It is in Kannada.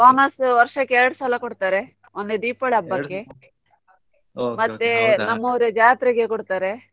Bonus ವರ್ಷಕ್ಕೆ ಎರಡು ಸಲ ಕೊಡ್ತಾರೆ ಒಂದು ದೀಪಾವಳಿ ಹಬ್ಬಕ್ಕೆ ಮತ್ತೆ ನಮ್ಮೂರ ಜಾತ್ರೆಗೆ ಕೊಡ್ತಾರೆ.